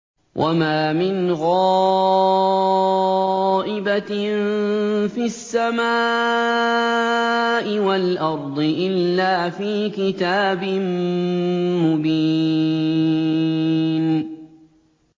وَمَا مِنْ غَائِبَةٍ فِي السَّمَاءِ وَالْأَرْضِ إِلَّا فِي كِتَابٍ مُّبِينٍ